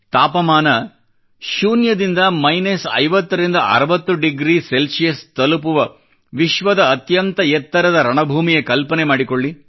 ತಾಪಮಾನ ಶೂನ್ಯದಿಂದ ಮೈನಸ್ 50 ರಿಂದ 60 ಡಿಗ್ರಿ ತಲುಪುವ ವಿಶ್ವದ ಅತ್ಯಂತ ಎತ್ತರದ ರಣಭೂಮಿಯ ಕಲ್ಪನೆ ಮಾಡಿಕೊಳ್ಳಿ